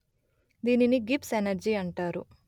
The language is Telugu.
దీనిని గిబ్స్ ఎనర్జీ అంటారు